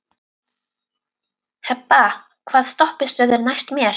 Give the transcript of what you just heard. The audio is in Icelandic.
Hebba, hvaða stoppistöð er næst mér?